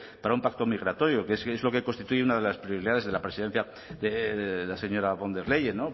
para un pacto migratorio que es que es lo que constituye una de las prioridades de la presidencia de la señora der leyen no pues